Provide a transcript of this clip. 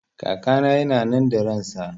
Kakana yana nan da ransa